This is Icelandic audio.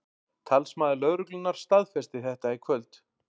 Talsmaður lögreglunnar staðfesti þetta í kvöld